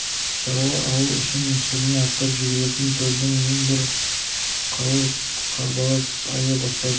шаруа ауыл үшін сүріне аттап жүгіретін төлдің ең бір қауырт қарбалас айы басталды